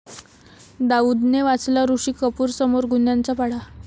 दाऊदने वाचला ऋषी कपूरसमोर गुन्ह्यांचा पाढा